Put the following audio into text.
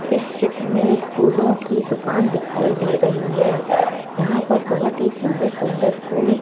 इस चित्र में एक फूलों की दुकान दिखाई दे रही है यहां पर बहोत ही सुंदर सुंदर फूल --